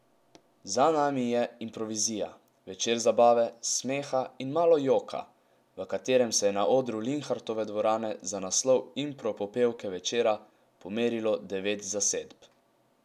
Za nami je Improvizija, večer zabave, smeha in malo joka, v katerem se je na odru Linhartove dvorane za naslov impro popevke večera pomerilo devet zasedb.